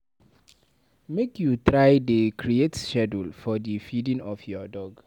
Make you try dey create schedule for di feeding of your dog.